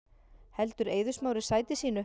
Heldur Eiður Smári sæti sínu